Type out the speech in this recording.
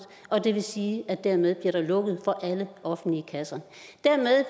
og det vil sige at der dermed bliver lukket for alle offentlige kasser dermed